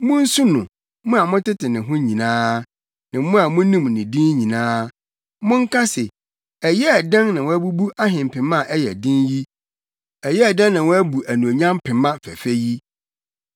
Munsu no, mo a motete ne ho nyinaa, ne mo a munim ne din nyinaa; monka se, ‘Ɛyɛɛ dɛn na wɔabubu ahempema a ɛyɛ den yi ɛyɛɛ dɛn wɔabu anuonyam pema fɛfɛ yi mu!’